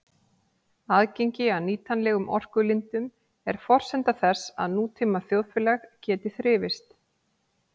Aðgengi að nýtanlegum orkulindum er forsenda þess að nútíma þjóðfélag geti þrifist.